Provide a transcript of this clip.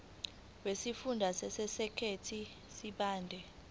wesifunda sasegert sibande